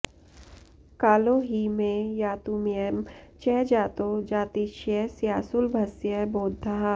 कालो हि मे यातुमयं च जातो जातिक्षयस्यासुलभस्य बोद्धा